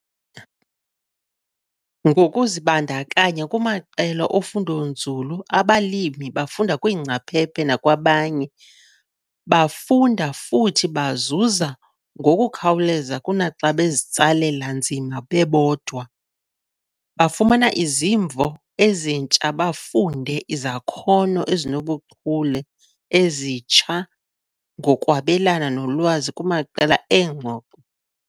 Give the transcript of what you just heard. Ngokuzibandakanya kumaqela ofundonzulu abalimi bafunda kwiingcaphephe nakwabanye. Bafunda, futhi bazuza, ngokukhawuleza kunaxa bezitsalela nzima bebodwa. Bafumana izimvo ezintsha bafunde izakhono ezinobuchule ezitsha ngokwabelana nolwazi kumaqela eengxoxo.